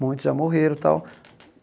Muitos já morreram tal.